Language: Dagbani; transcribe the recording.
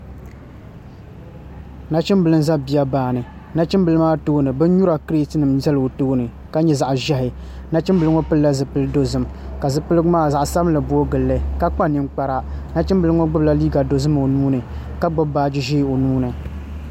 Nachimbili n ʒɛ biya baani nachimbili maa tooni bin nyura kirɛt nim ʒɛla o tooni ka nyɛ zaɣ ʒiɛhi nachimbili ŋo pilila zipili dozim ka zipiligu maa zaɣ sabinli booi gilli ka kpa ninkpara bachimbili ŋo gbubila liiga dozim o nuuni ka gbubi baaji ʒiɛ o nuuni